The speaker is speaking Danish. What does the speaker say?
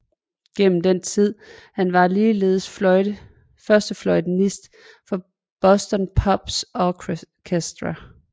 Gennem den tid var han ligeledes førstefløjtenist for Boston Pops Orchestra